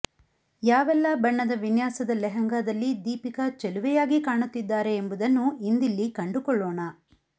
ಯಾವೆಲ್ಲಾ ಬಣ್ಣದ ವಿನ್ಯಾಸದ ಲೆಹೆಂಗಾದಲ್ಲಿ ದೀಪಿಕಾ ಚೆಲುವೆಯಾಗಿ ಕಾಣುತ್ತಿದ್ದಾರೆ ಎಂಬುದನ್ನು ಇಂದಿಲ್ಲಿ ಕಂಡುಕೊಳ್ಳೋಣ